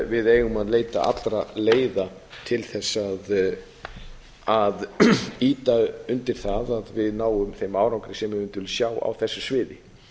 við eigum að leita allra leiða til þess að ýta undir það að við náum þeim árangri sem við vildum sjá á þessu sviði